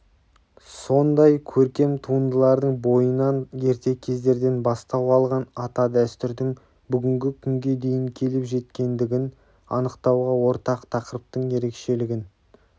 сондай көркем туындылардың бойынан ерте кездерден бастау алған ата дәстүрдің бүгінгі күнге дейін келіп жеткендігін анықтауға ортақ тақырыптың ерекшелігін